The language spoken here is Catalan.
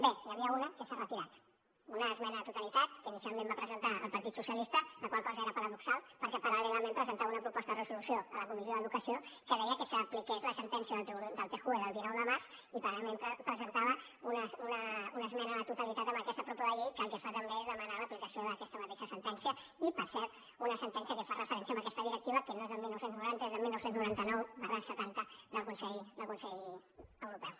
bé n’hi havia una que s’ha retirat una esmena a la totalitat que inicialment va presentar el partit socialista la qual cosa era paradoxal perquè paral·lelament presentava una proposta de resolució a la comissió d’educació que deia que s’apliqués la sentència del tjue del dinou de març i paral·lelament presentava una esmena a la totalitat a aquesta propo de llei que el que fa també és demanar l’aplicació d’aquesta mateixa sentència i per cert una sentència que fa referència a aquesta directiva que no és del dinou noranta és del dinou noranta nou setanta del consell europeu